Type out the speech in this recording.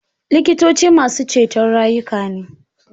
Likitoci masu ceto rayuka ne